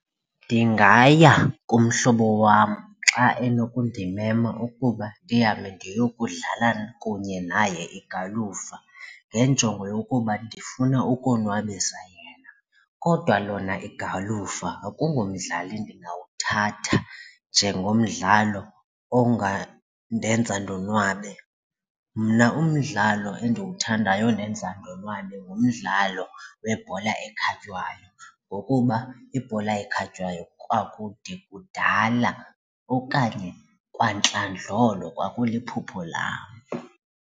Ndingaya kumhlobo wam xa enokundimema ukuba ndihambe ndiyokudlala kunye naye igalufa ngenjongo yokuba ndifuna ukonwabisa yena kodwa lona igalufa akungomdlali ndingawuthatha njengomdlalo ongandenza ndonwabe. Mna umdlalo endiwuthandayo ondenza ndonwabe ngumdlalo webhola ekhatywayo ngokuba ibhola ekhatywayo kwakude kudala okanye kwantlandlolo kwakuliphupho lam.